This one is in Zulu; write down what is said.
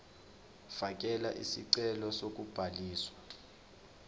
fakela isicelo sokubhaliswa